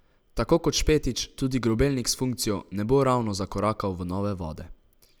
Tako kot Špetič tudi Grobelnik s funkcijo ne bo ravno zakorakal v nove vode.